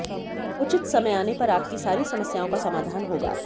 उचित समय आने पर आपकी सारी समस्याओं का समाधान होगा